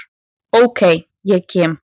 Ok, ég kem.